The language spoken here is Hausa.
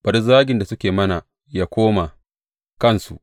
Bari zagin da suke yi mana yă koma kansu.